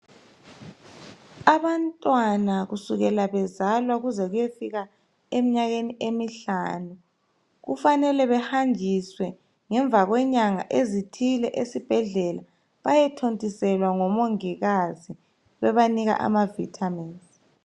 Abantwana kusukela bezalwa ukuze kuyefika eminyakeni emihlanu kufanele behanjiswe ngemva kwenyanga ezithile esibhedlela bahethontiselwa ngomongikazi bebanika ama vitamins